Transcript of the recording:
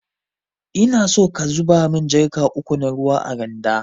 Inaso ka zuba mun jarka uku na ruwa a randa.